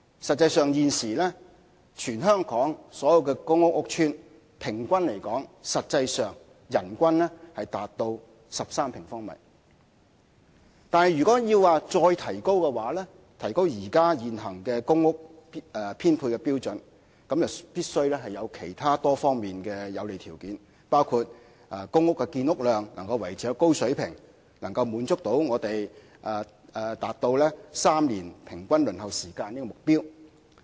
實際上，現時全港所有公共屋邨的平均人均居住面積達到13平方米。但是，如果要再提高現行的公屋編配標準，則必須有其他多方面的有利條件，包括公屋建屋量能夠維持高水平，可達至3年平均公屋輪候時間的目標。